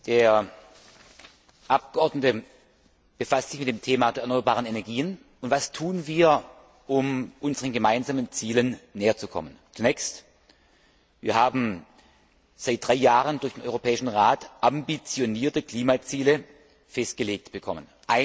Der Abgeordnete befasst sich mit dem Thema der erneuerbaren Energien, und was tun wir, um unseren gemeinsamen Zielen näherzukommen? Wir haben seit drei Jahren durch den Europäischen Rat ambitionierte Klimaziele festgelegt bekommen.